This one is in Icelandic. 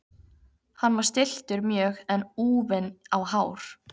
Hann var stilltur mjög en úfinn á hár.